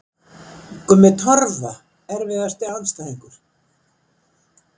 Gummi Torfa Erfiðasti andstæðingur?